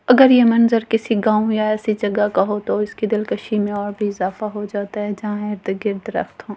अगर ये मंजर किसी गांव या ऐसी जगह का हो तो इसकी दिलकसी में और भी इजाफा हो जाता है जहां इर्द-गर्द दरख्‍त हो।